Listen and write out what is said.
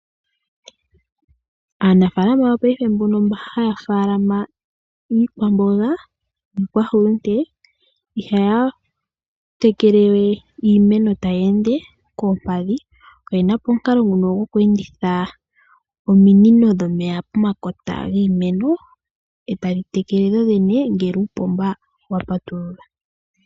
Aanafaalama yopaife mboka haya faalama iikwamboga niikwahulunde ihaya tekele we iimeno taya ende koompadhi. Oye na po omukalo ngoka goku enditha ominino dhomeya pomakota giimeno e tadhi tekele dhodhene ngele uupomba wa patululwa.